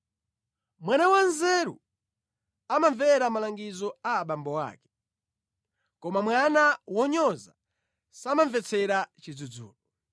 Mwana wanzeru amamvera malangizo a abambo ake, koma mwana wonyoza samamvetsera chidzudzulo.